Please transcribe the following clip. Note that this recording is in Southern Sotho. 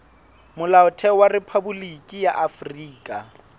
molaotheo wa rephaboliki ya afrika